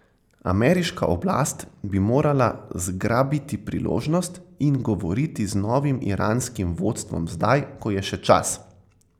Ameriška oblast bi morala zgrabiti priložnost in govoriti z novim iranskim vodstvom zdaj, ko je še čas.